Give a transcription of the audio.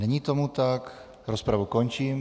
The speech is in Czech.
Není tomu tak, rozpravu končím.